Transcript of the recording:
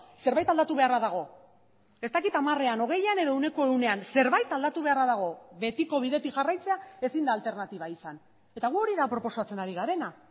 zerbait aldatu beharra dago ez dakit hamarean hogeian edo ehuneko ehunean zerbait aldatu beharra dago betiko bidetik jarraitzea ezin da alternatiba izan eta gu hori da proposatzen ari garena